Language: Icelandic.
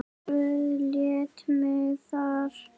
Guð lét mig þar.